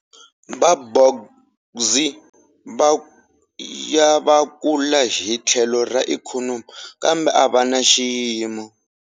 Va bourgeoisie va ya va kula hi tlhelo ra ikhonomi, kambe a va na xiyimo.